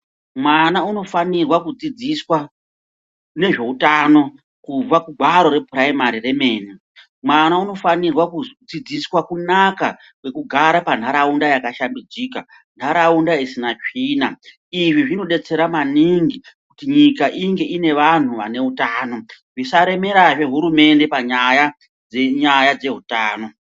Mwana unofanirwa kudzidziswa nezveutano kubva kugwaro repuraimari remene mwana unofanira kudzidziswa kunaka kwekugara panharaunda yakashambadzika mharaunda isina tsvina izvi zvinodetsera maningi kuti nyika inge ine vanhu vane uatano zvisaremerazve hurumende panyaya dzehutano.